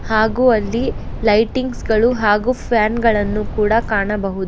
ಹಾಗೂ ಅಲ್ಲಿ ಲೈಟಿಂಗ್ಸ್ ಗಳು ಹಾಗೂ ಫ್ಯಾನ್ ಗಳನ್ನು ಕೂಡ ಕಾಣಬಹು--